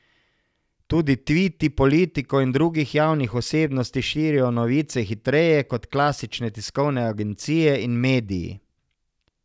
Tudi tviti politikov in drugih javnih osebnosti širijo novice hitreje kot klasične tiskovne agencije in mediji.